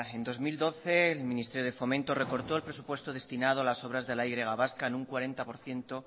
en dos mil doce el ministerio de fomento recortó el presupuesto destinado a las obras de la y vasca en un cuarenta por ciento